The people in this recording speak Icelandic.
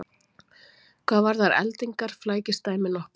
Hvað varðar eldingar flækist dæmið nokkuð.